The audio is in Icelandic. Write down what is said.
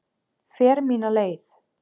Fer mína leið.